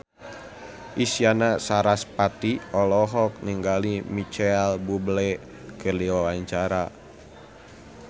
Isyana Sarasvati olohok ningali Micheal Bubble keur diwawancara